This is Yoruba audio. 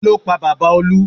Kí ló pa bàbá Olú?